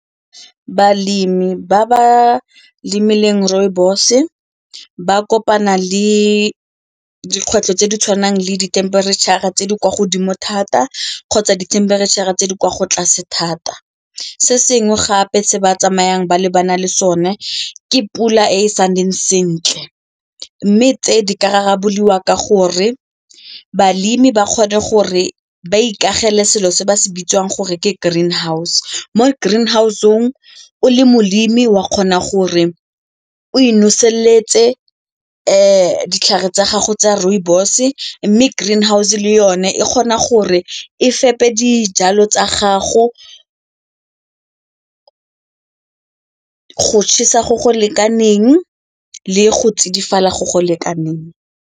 Balemi ba ba lemileng rooibos ba kopana le dikgwetlho tse di tshwanang le dithemperetšhara tse di kwa godimo thata kgotsa dithemperetšhara tse di kwa tlase thata. Se sengwe gape se ba tsamayang ba lebana le sone ke pula e sa ntseng sentle mme tse di ka rarabololwa ka gore balemi ba kgone gore ba ikagele selo se ba se bitsang gore ke green house, mo green house-ong o le molemi wa kgona gore o e noseletse ditlhare tsa gago tsa rooibos mme green house le yone e kgona gore e fete dijalo tsa gago go go go lekaneng le go tsidifala go go lekaneng.